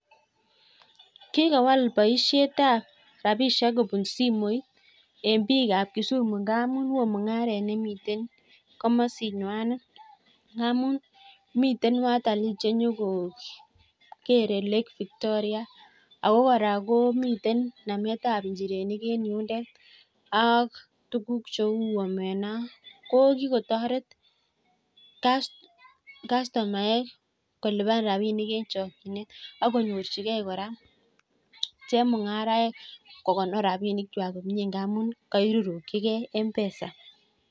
Kikowal boishetab rapishek kobun simoit en biikab Kisumu ngamun oo mung'aret nemitei komosin ng'wang'et. Ngamun mitei watali che nyoko kerei lake victoria, ako kora komitei nametab injirenik en yundet ak tukuk cheu omena. Ko kikotoret kastomaek kolipan rapinik eng chokchinet akonyorchigei kpora chemung'arainik kokonor rapinikwai komie ngamun kairurukchigei mpesa.